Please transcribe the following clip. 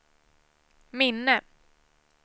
minne